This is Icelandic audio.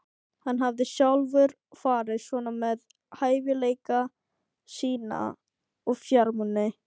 Hann hafði sjálfur farið svona með hæfileika sína og fjármuni.